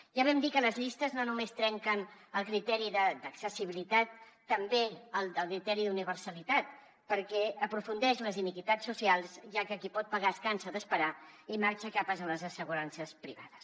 ja vam dir que les llistes no només trenquen el criteri d’accessibilitat també el criteri d’universalitat perquè s’aprofundeix en les iniquitats socials ja que qui pot pagar es cansa d’esperar i marxa cap a les assegurances privades